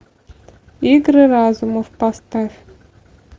игры разума поставь